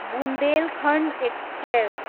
Bundelkhand express